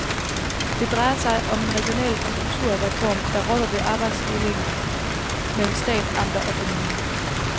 Det drejer sig om en regional kulturreform, der rokker ved arbejdsdelingen mellem stat, amter og kommuner.